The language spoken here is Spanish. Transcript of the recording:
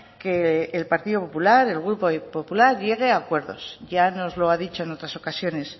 que el partido popular el grupo popular llegue a acuerdos ya nos lo ha dicho en otras ocasiones